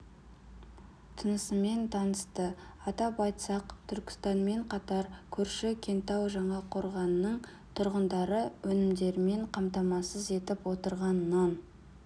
тынысымен танысты атап айтсақ түркістанмен қатар көрші кентау жаңақорғанның тұрғындарын өнімдерімен қамтамасыз етіп отырған нан